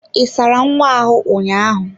Ị sara nwa ahụ ụnyaahụ?